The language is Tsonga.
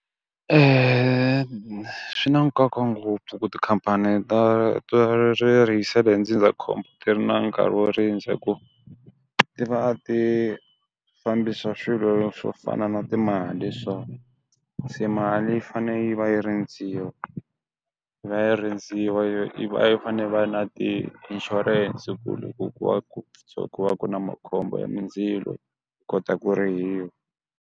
swi na nkoka ngopfu ku tikhampani ta ta ri hi ndzindzakhombo ti ri na nkarhi wo rindza hi ku ti va ti fambisa swilo swo fana na timali so, se mali yi fane yi va yi rindziwa, yi va yi rindziwa fa ne yi va yi fane va na ti-insurance ku ri ku ku va ku ku ku va na makhombo ya mindzilo yi kota ku rihiwa.